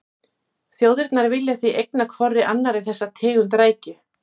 Þjóðirnar vilja því eigna hvorri annarri þessa tegund rækju.